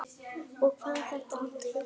Og hvað þetta allt heitir.